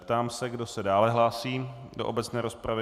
Ptám se, kdo se dále hlásí do obecné rozpravy.